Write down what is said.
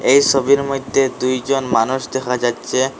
এই সবির মইধ্যে দুইজন মানুষ দেখা যাচ্ছে।